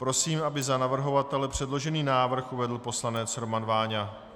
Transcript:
Prosím, aby za navrhovatele předložený návrh uvedl poslanec Roman Váňa.